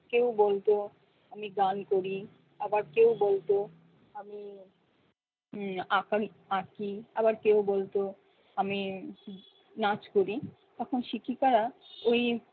কেউ বলতো আমি গান করি আবার কেউ বলতো উম আকাশ আঁকি আবার কেউ বলতো আমি নাচ করি তখন শিক্ষিকারা ঐ